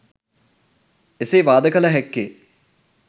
එසේ වාද කළ හැක්කේ